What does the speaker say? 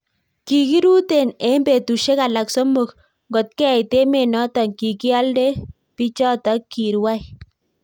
Kikiruteen eng petusiek alaak somok ngotkeit emet notok kikialdaee pichatak kirwai